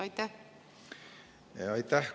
Aitäh!